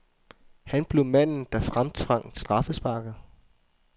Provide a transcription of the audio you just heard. Han blev manden, der fremtvang straffesparket.